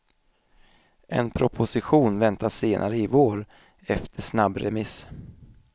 En proposition väntas senare i vår, efter snabbremiss.